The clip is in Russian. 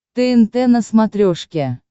тнт на смотрешке